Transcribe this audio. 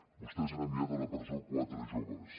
vostès han enviat a la presó quatre joves